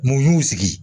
Mun y'u sigi